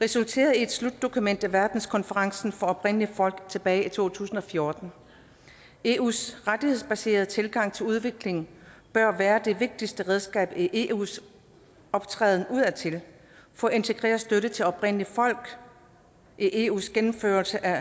resulterede i et slutdokument ved verdenskonferencen oprindelige folk tilbage i to tusind og fjorten eus rettighedsbaserede tilgang til udviklingen bør være det vigtigste redskab i eus optræden udadtil for at integrere støtte til oprindelige folk i eus gennemførelse af